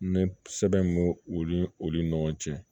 N bɛ sɛbɛn bo olu ni olu ɲɔgɔn cɛ